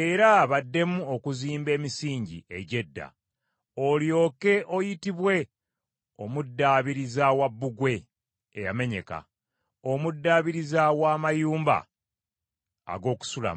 era baddemu okuzimba emisingi egy’edda. Olyoke oyitibwe omuddaabiriza wa bbugwe eyamenyeka, omuddaabiriza wa mayumba ag’okusulamu.